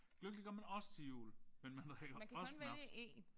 Gløgg det gør man også til jul men man drikker også snaps